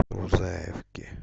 рузаевке